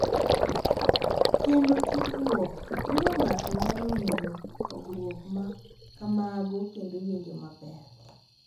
Kendo tudruok miyo ng’ato nyalo ng’eyo pogruok ma kamago kendo winjo maber.